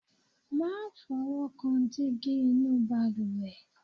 má fọwọ́kan dígí inú ìbalùwẹ̀